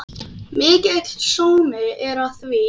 Mikill sómi er að því.